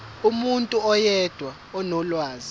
umuntu oyedwa onolwazi